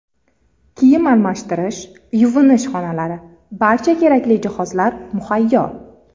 Kiyim almashtirish, yuvinish xonalari, barcha kerakli jihozlar muhayyo.